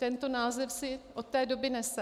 Tento název si od té doby nese.